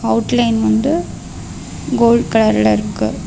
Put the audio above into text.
Outline வந்து gold கலர்ல இருக்கு.